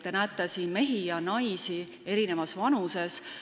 Te näete siin mehi ja naisi erinevas vanuses.